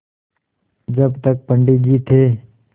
जब तक पंडित जी थे